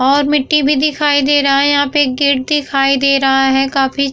और मिटी भी दिखाई दे रहा है। यहाँ पे एक गेट दिखाई दे रहा है काफी--